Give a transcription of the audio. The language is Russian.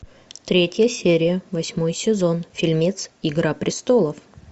третья серия восьмой сезон фильмец игра престолов